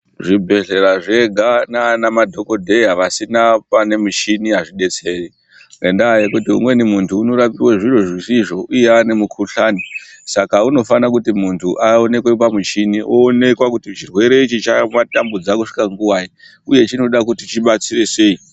Zvibhedhlera zvega nana madhokodheya asina pane mushini azvidetseri ngenda yekuti umweni muntu anorapiwa zvimwe zvisizvo uye ane mukuhlani Saka unofana kuti muntu aonekwe pamuchini aonekwa kuti chirwere chamutambudza kusvika nguwai uye chinoda chidetserwe sei.